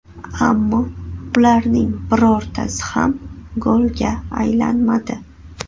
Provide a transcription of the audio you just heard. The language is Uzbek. Ammo ularning birortasi ham golga aylanmadi.